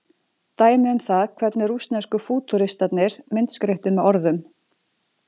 Dæmi um það hvernig rússnesku fútúristarnir myndskreyttu með orðum.